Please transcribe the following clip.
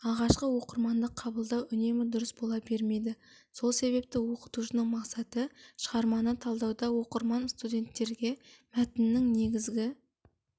алғашқы оқырмандық қабылдау үнемі дұрыс бола бермейді сол себепті оқытушының мақсаты шығарманы талдауда оқырман-студенттерге мәтіннің негізгі